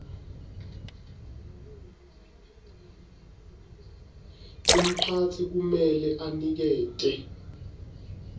umphatsi kumele anikete